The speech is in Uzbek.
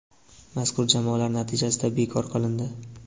mazkur jamoalar natijasi bekor qilindi.